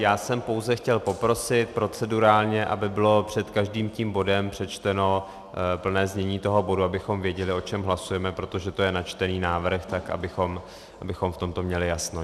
Já jsem pouze chtěl poprosit procedurálně, aby bylo před každým tím bodem přečteno plné znění toho bodu, abychom věděli, o čem hlasujeme, protože to je načtený návrh, tak abychom v tomto měli jasno.